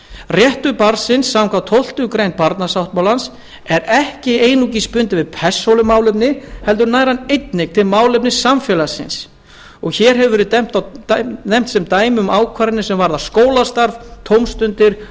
réttur barnsins samkvæmt tólftu greinar barnasáttmálans er ekki einungis bundinn við persónuleg málefni heldur nær hann einnig til málefna samfélagsins hér hafa verið nefnd sem dæmi ákvarðanir sem varða skólastarf tómstundir